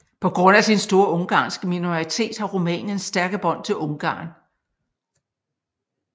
På grund af sin store ungarske minoritet har Rumænien stærke bånd til Ungarn